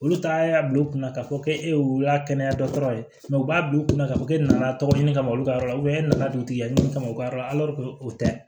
Olu ta y'a bila u kunna k'a fɔ ko e y'a kɛnɛya dɔtɔrɔ ye u b'a bila u kunna k'a fɔ e nana tɔgɔ ɲini kama olu ka yɔrɔ la e nana dugutigi ya ɲini kama u ka yɔrɔ la o tɛ